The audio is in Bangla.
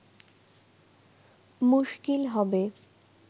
মুশকিল হবে